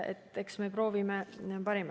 Ent eks me proovime anda endast parima.